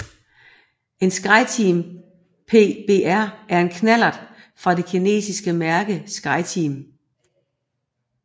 En Skyteam PBR er en knallert af det kinesiske mærke Skyteam